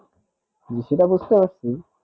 সেটা বুঝতে পারছি